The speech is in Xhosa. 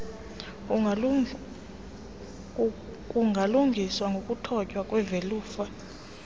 kungalungiswa ngokuthotywa kwevelufa